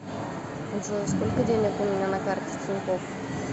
джой сколько денег у меня на карте тинькофф